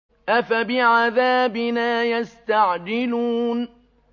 أَفَبِعَذَابِنَا يَسْتَعْجِلُونَ